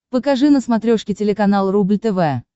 покажи на смотрешке телеканал рубль тв